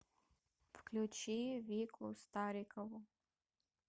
включи вику старикову